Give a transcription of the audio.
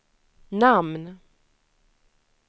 namn